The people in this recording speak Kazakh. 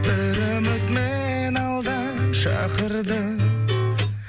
бір үміт мені алдан шақырды